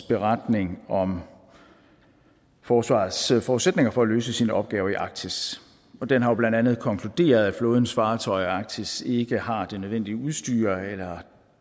beretning om forsvarets forudsætninger for at løse sine opgaver i arktis den har jo blandt andet konkluderet at flådens fartøjer i arktis ikke har det nødvendige udstyr eller